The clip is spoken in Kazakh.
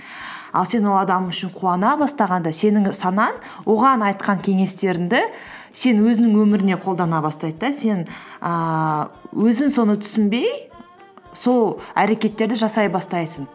ал сен ол адам үшін қуана бастағанда сенің санаң оған айтқан кеңестеріңді сен өзінің өміріңе қолдана бастайды да сен ііі өзің соны түсіңбей сол әрекеттерді жасай бастайсың